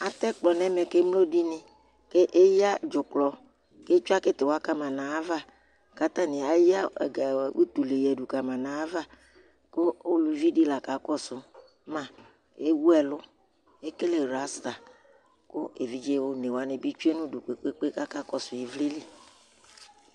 Atɛ ɛkplɔ ŋu ɛmɛ kʋ emloɖìŋí Eya dzʋklɔ kʋ etsʋe kitiwa kama ŋu ayʋ ava kʋ ataŋi eya utlɛ ɖu kama ŋu ayʋ ava kʋ ʋlʋvi ɖi la kakɔsu ma Ɛwu ɛlu, ekele rasta Evidze ɔnewaŋi bi tsʋe ŋu ʋdu kpe kpe akakɔsu ivlilì